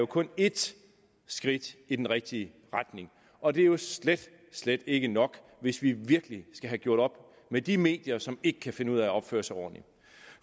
kun er ét skridt i den rigtige retning og det er slet slet ikke nok hvis vi virkelig skal have gjort op med de medier som ikke kan finde ud af at opføre sig ordentligt